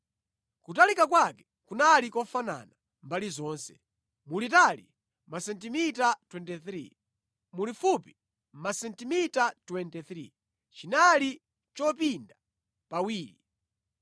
Kutalika kwake kunali kofanana mbali zonse, mulitali masentimita 23, mulifupi masentimita 23, chinali chopinda pawiri.